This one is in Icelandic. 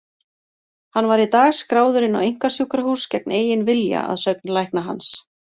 Hann var í dag skráður inn á einkasjúkrahús gegn eigin vilja, að sögn lækna hans.